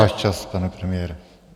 Váš čas, pane premiére.